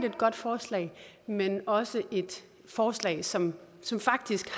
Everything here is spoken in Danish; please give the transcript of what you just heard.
et godt forslag men også et forslag som som faktisk